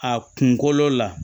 A kunkolo la